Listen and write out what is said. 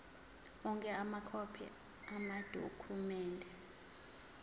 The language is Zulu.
onke amakhophi amadokhumende